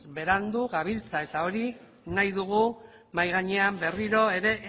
berandu gabiltza eta hori nahi dugu mahai gainean berriro ere